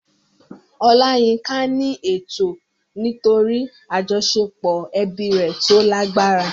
Olayinka ní ẹ̀tọ́ nítorí àjọṣepọ̀ ẹbí rẹ̀ tó lágbára.